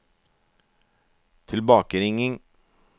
tilbakeringing